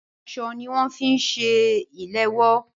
Aṣọ ní wọn fi ń ṣe ìléwọ́.